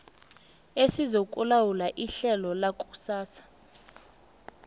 esizokulawula ihlelo lakusasa